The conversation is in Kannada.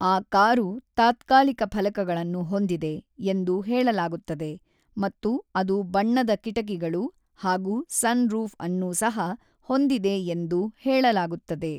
ಆ ಕಾರು ತಾತ್ಕಾಲಿಕ ಫಲಕಗಳನ್ನು ಹೊಂದಿದೆ ಎಂದು ಹೇಳಲಾಗುತ್ತದೆ ಮತ್ತು ಅದು ಬಣ್ಣದ ಕಿಟಕಿಗಳು ಹಾಗೂ ಸನ್‌ರೂಫ್ ಅನ್ನೂ ಸಹ ಹೊಂದಿದೆ ಎಂದು ಹೇಳಲಾಗುತ್ತದೆ.